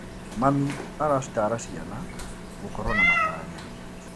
Mami aracitaara ciana gũkorwo na matanya.